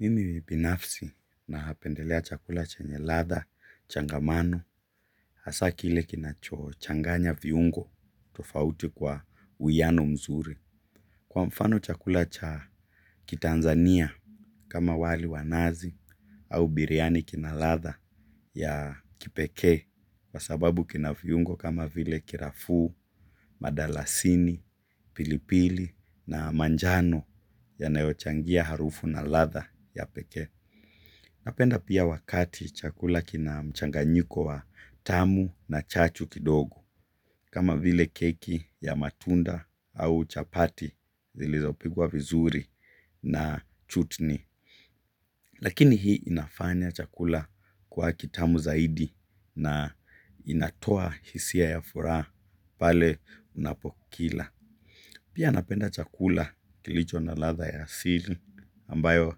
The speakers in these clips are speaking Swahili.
Mimi binafsi napendelea chakula chenye ladha, changamano, hasa kile kinacho changanya viungo, tofauti kwa uwiano mzuri. Kwa mfano chakula cha kitanzania kama wali wa nazi au biriani kina ladha ya kipekee, kwa sababu kina viungo kama vile kirafuu, madalasini, pilipili na manjano yanayochangia harufu na ladha ya pekee. Napenda pia wakati chakula kina mchanganyiko wa tamu na chachu kidogo, kama vile keki ya matunda au chapati zilizo pikwa vizuri na chutni. Lakini hii inafanya chakula kwa kitamu zaidi na inatoa hisia ya furaha pale unapokila. Pia napenda chakula kilicho na ladha ya asili ambayo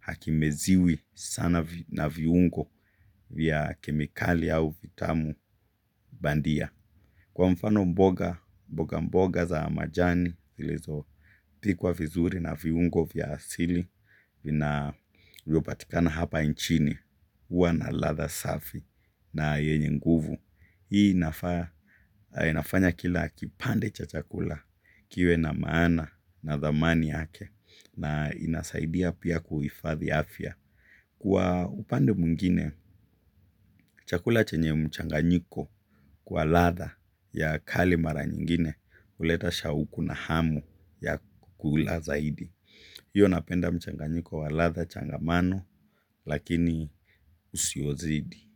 hakimeziwi sana na viungo vya kemikali au vitamu bandia. Kwa mfano mboga mboga mboga za majani zilizo pikwa vizuri na viungo vya asili vina vyopatikana hapa nchini huwa na ladha safi na yenye nguvu. Hii inafanya kila kipande cha chakula kiwe na maana na dhamani yake na inasaidia pia kuhifadhi afya. Kwa upande mwingine, chakula chenye mchanganyiko kwa ladha ya kali mara nyingine huleta shauku na hamu ya kukula zaidi. Hivyo napenda mchanganyiko wa ladha changamano lakini usiozidi.